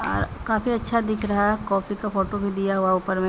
अ काफी अच्छा दिख रहा है कॉपी का फोटो भी दिया हुआ है ऊपर मे ।